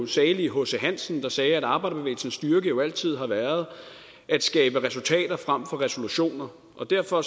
salig hc hansen der sagde at arbejderbevægelsens styrke jo altid har været at skabe resultater frem for resolutioner og derfor